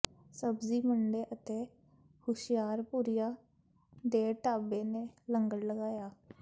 ਸਬਜ਼ੀ ਮੰਡੀ ਅਤੇ ਹੁਸ਼ਿਆਰਪੁਰੀਆ ਦੇ ਢਾਬੇ ਨੇ ਲੰਗਰ ਲਗਾਏ